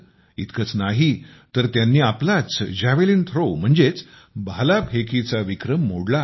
इतकंच नाही तर त्यांनी आपलाच जॅव्हेलीन थ्रोचा म्हणजेच भाला फेकीचा विक्रम मोडला आहे